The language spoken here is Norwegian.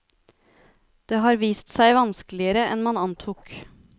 Det har vist seg vanskeligere enn man antok.